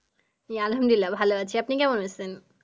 আমি আলহামদুলিল্লাহ ভালো আছি আপনি কেমন আছেন?